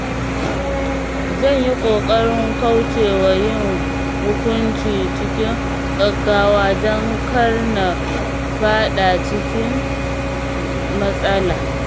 Zan yi ƙoƙarin kauce wa yin hukunci cikin gaggawa don kar na faɗa cikin matsala.